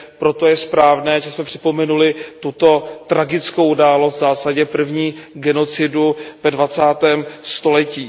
Proto je správné, že jsme připomněli tuto tragickou událost, v zásadě první genocidu ve dvacátém století.